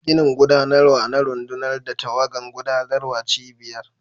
Ginin gudanarwa na rundunar da tawagan gudanarwar cibiyar.